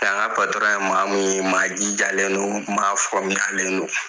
Nka n patɔrɔn ye maamu ye maajijalen don maafamuyalen don